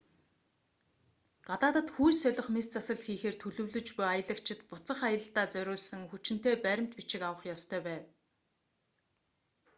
гадаадад хүйс солих мэс засал хийхээр төлөвлөж буй аялагчид буцах аялалдаа зориулсан хүчинтэй баримт бичиг авч явах ёстой